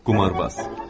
Qumarbaz.